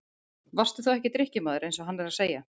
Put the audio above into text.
Varstu þá ekki drykkjumaður eins og hann er að segja?